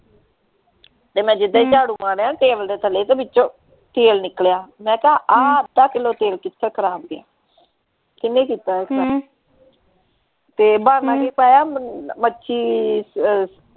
ਤੇ ਮੈਂ ਜਿਦਾਂ ਈ ਝਾੜੂ ਮਾਰਿਆ ਨਾ ਟੇਬਲ ਦੇ ਥੱਲੇ ਤੇ ਵਿਚੋਂ ਤੇਲ ਨਿਕਲਿਆ ਮੈਂ ਕਿਹਾ ਆਹ ਅੱਧਾ ਕਿਲੋ ਤੇਲ ਕਿਥੇ ਖਰਾਬ ਗਯਾ ਕਿੰਨੇ ਕੀਤਾ ਆ ਹਮ ਤੇ ਬਹਾਨਾ ਕੀ ਲਾਇਆ ਮੱਛੀ ਅਹ